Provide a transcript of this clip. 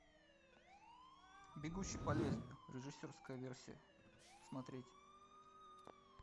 бегущий по лезвию режиссерская версия смотреть